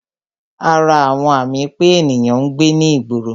Ara àwọn àmì pé ènìyàn ń gbé ní ìgboro